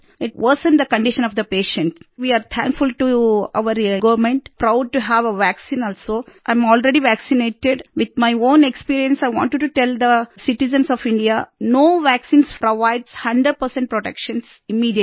इत varies the condition of the patient we are thankful to our government proud to have a vaccine also and I am already vaccinated with my own experience I wanted to tell the citizens of India no vaccine provides 100 protection immediately